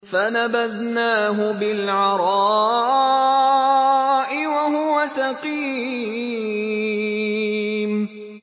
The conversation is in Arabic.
۞ فَنَبَذْنَاهُ بِالْعَرَاءِ وَهُوَ سَقِيمٌ